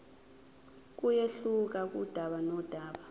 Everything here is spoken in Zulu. kuyehluka kudaba nodaba